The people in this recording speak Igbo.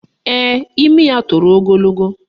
Ee, imi ya toro ogologo